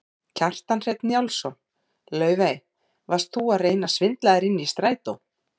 Kjartan Hreinn Njálsson: Laufey, varst þú að reyna að svindla þér inn í strætó?